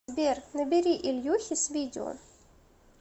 сбер набери ильюхе с видео